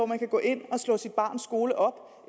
man kan gå ind og slå sit barns skole op